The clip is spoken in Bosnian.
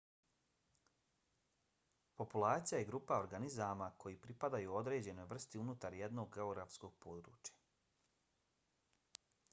populacija je grupa organizama koji pripadaju određenoj vrsti unutar jednog geografskog područja